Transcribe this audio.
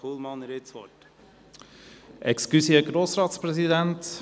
Kullmann, Sie haben das Wort.